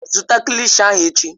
Zụta kilishi ahụ echi!